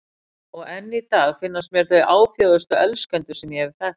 Og enn í dag finnast mér þau áfjáðustu elskendur sem ég hef þekkt.